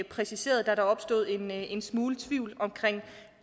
præciseret da der opstod en en smule tvivl om